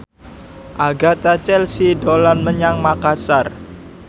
Agatha Chelsea dolan menyang Makasar